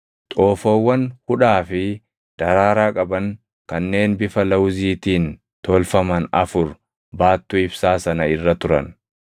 Xoofoowwan hudhaa fi daraaraa qaban kanneen bifa lawuziitiin tolfaman afur baattuu ibsaa sana irra turan.